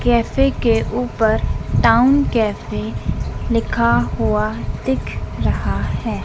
Cafe के ऊपर town cafe लिखा हुआ दिख रहा है।